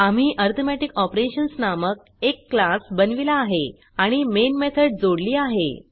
आम्ही arithmetic operations नामक एक क्लास बनविला आहे आणि मेन मेथड जोडली आहे